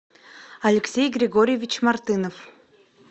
алексей григорьевич мартынов